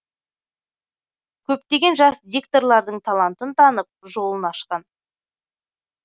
көптеген жас дикторлардың талантын танып жолын ашқан